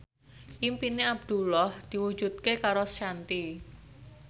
impine Abdullah diwujudke karo Shanti